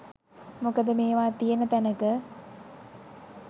මොකද මේවා තියෙන තැනක